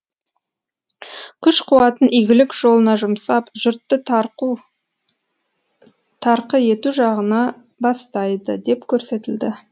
күш қуатын игілік жолына жұмсап жұртты тарқы ету жағына бастайды деп көрсетілді